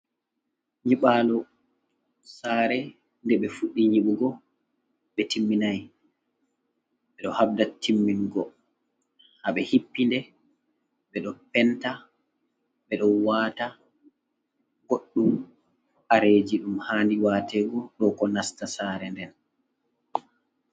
Nyibalu sare ɗe ɓe fuddi nyibugo ɓe timmininai ɓe ɗo habɗa timmingo ha ɓe hippiɗe ɓe ɗo penta ɓe ɗo wata goɗdum kareji ɗum hadi watego do ko nasta sare nden.